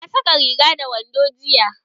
Ka saka rigar da wandon jiya?